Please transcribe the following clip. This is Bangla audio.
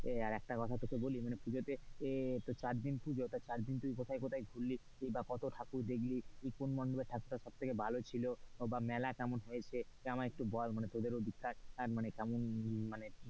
একটা কথা তোকে বলি মানে পুজোতে এ চারদিন পুজো, চারদিন পর্যন্ত তুই কোথায় কোথায় ঘুরলি কি বা কতো ঠাকুর দেখলি? কোন মন্ডপে ঠাকুরটা সবথেকে ভালো ছিল বা মেলা কেমন হয়েছে? আমাই একটু বল তোদের ঐদিক কার,